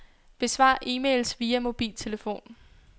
Besvar e-mails via mobiltelefon.